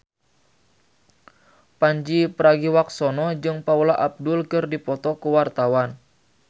Pandji Pragiwaksono jeung Paula Abdul keur dipoto ku wartawan